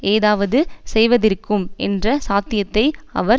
ஏதாவது செய்வதிருக்கும் என்ற சாத்தியத்தை அவர்